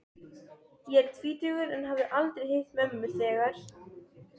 Ég var tvítugur en hafði aldrei hitt mömmu þegar